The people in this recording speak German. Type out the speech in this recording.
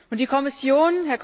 Und die Kommission?